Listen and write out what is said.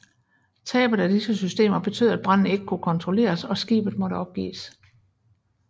Tabet af disse systemer betød at branden ikke kunne kontrolleres og skibet måtte opgives